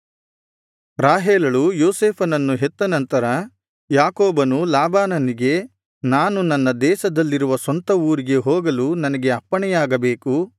ರಾಹೇಲಳು ಯೋಸೇಫನನ್ನು ಹೆತ್ತ ನಂತರ ಯಾಕೋಬನು ಲಾಬಾನನಿಗೆ ನಾನು ನನ್ನ ದೇಶದಲ್ಲಿರುವ ಸ್ವಂತ ಊರಿಗೆ ಹೋಗಲು ನನಗೆ ಅಪ್ಪಣೆಯಾಗಬೇಕು